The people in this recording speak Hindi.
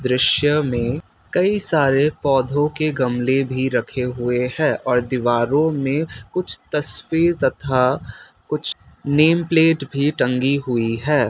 दृश्य में कई सारे पौधों के गमले भी रखे हुए हैं और दीवारों में कुछ तस्वीर तथा कुछ नेम प्लेट भी टंगी हुई है।